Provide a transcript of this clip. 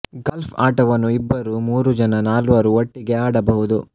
golf ಆಟವನ್ನು ಇಬ್ಬರು ಮೂರು ಜನ ನಾಲ್ವರು ಒಟ್ಟಿಗೆ ಆಡಬಹುದು